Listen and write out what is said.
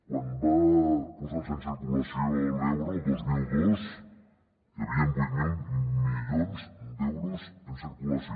quan va posar se en circulació l’euro el dos mil dos hi havien vuit mil milions d’euros en circulació